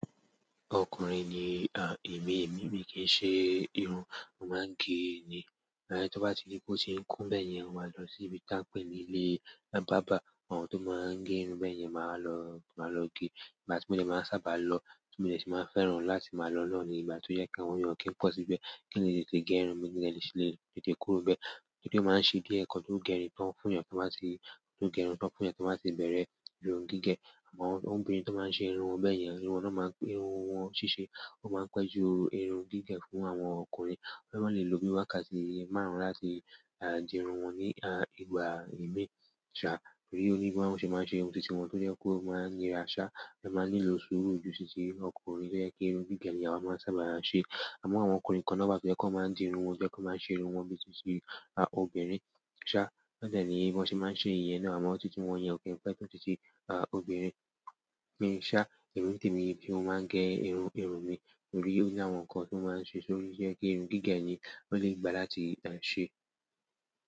Ọkùnrin ni, à, èmi, èmi kì í ṣe irun, mo máa ń gé ni. Láyé tó bá ti rí pé ó ti ń kún bẹ́ẹ̀ yẹn, mo máa lọ sí ibi tá ń pè ní ilé bábà àwọn tó máa ń gẹ irun bẹ́ẹ̀ yẹn, màá lọ, màá lọ gẹ̀. Ìgbà tí mo dẹ̀ máa n sábà lọ tí mo dẹ̀ sí fẹ́ràn láti máa lọ náà ní ìgbà ti jẹ pé àwọn èèyàn o kìí n pọ síbẹ̀. Kii n lè tètè gẹ irun mí kí n dẹ̀ sì lè tètè kúrò níbẹ̀ torí pé ó máa ń ṣìdí ẹ̀kọ́ tó gé irun tó ń fún èèyàn kí wọ́n má sì, tó gé irun tó ń fún èèyàn kí wọ́n má sì bẹ̀rẹ̀ irun gígẹ̀. Àmọ́ àwọn obìnrin tó máa ń ṣe irun wọn bẹ́ẹ̀ yẹn, irun wọn tó máa ń gbé, irun wọn ṣíṣe, ó máa ń pẹ́ ju irun gígẹ̀ fún àwọn ọkùnrin. Ó máa ń lè lo bí i wákàtí márùn-ún láti, à, di irun wọn ní, a, ìgbà ìmi, ṣá. Torí pé onígbọ̀wọ́ ṣe máa ń ṣe irun titi wọ́n tó jẹ́ kó máa ń yá ṣá, ẹ máa nílò sùúrù ju titi ọkùnrin tó jẹ́ kí irun gígẹ̀ ni àwa máa ń sábà ṣe. Àmọ́ àwọn ọkùnrin kan náà bá fẹ́ kó máa ń di irun wọn, to jẹ pé wọn máa ń ṣe irun wọn bí i titi, a, obìnrin ṣá, wọn dẹ̀ ni bíí wọn ṣe máa ń ṣe ìyẹn náà. Àmọ́ titi wọn yẹn ò kí ń pẹ́ to titi, a, obìnrin. Emi ṣá, ìrún temi, mo máa ń gẹ̀ irun, irun mi, torí ó ní àwọn nǹkan tó máa ń ṣe sórí yẹ kí irun gígẹ̀ ni ó lè gbà láti, a, ṣe.